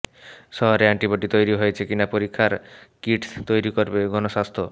শরীরে এন্টিবডি তৈরি হয়েছে কিনা পরীক্ষার কিট তৈরি করবে গণস্বাস্থ্য